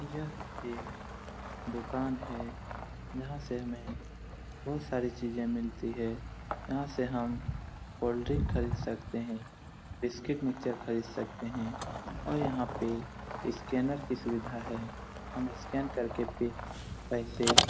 यहां एक दुकान है जहां से हमें बहुत सारी चीज मिलती है| यहां से हम कोल्ड्रिंग खरीद सकते है बिस्किट मिक्सचर खरीद सकते है और यहां पे स्केनर की सुविधा है हम स्केन करके पे पैसे --